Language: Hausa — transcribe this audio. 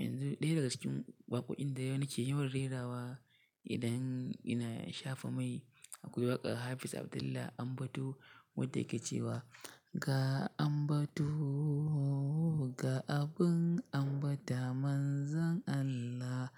Yanzu ɗaya daga cikin waƙoƙin da yau nike yawan rerawa idan ina shafa mai akwai waƙar Hafiz Abdullah Ambato wadda yake cewa "Ga Ambato ga abin ambata Manzon Allah".